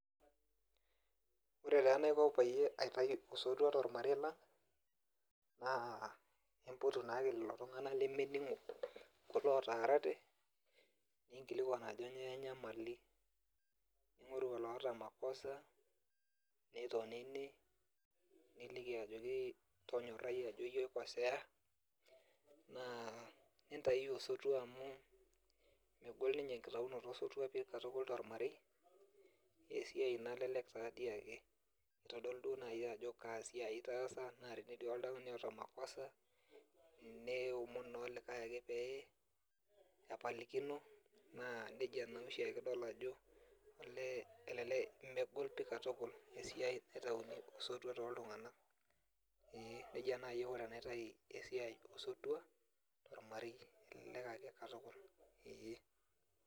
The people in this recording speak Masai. Ore taa enaiko peyie aitayu osotua tormarei lang, naa impotu naake lelo tung'anak lemening'o, kulo otaarate, ninkilikwan ajo nyoo enyamali. Ning'oru oloota makosa, nitonini, niliki ajoki iyie oikoseya, naa nintayuyu osotua amu megol ninye enkitayunoto osotua pi katukul tormarei, esiai nalelek tadi ake. Kitodolu duo nai ajo kaa siai itaasa, na tenetii oltung'ani oota makosa, neomon naa olikae ake pee epalikino, naa nejia noshi ake idol ajo, olee elelek megol pi katukul, esiai naitauni osotua toltung'anak. Ee, nejia nai aiko tenaitayu osotua tormarei. Elelek ake katukul. Ee.